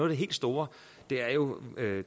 det helt store er jo